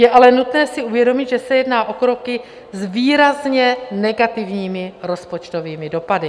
Je ale nutné si uvědomit, že se jedná o kroky s výrazně negativními rozpočtovými dopady.